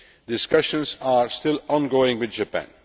Discussions are still ongoing with Japan.